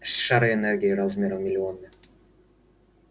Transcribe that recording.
шары энергии размером в миллионы